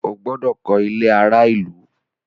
O gbọdọ kọ ilé àrà ìlú!